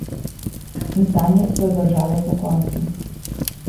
In sanje so jo držale pokonci.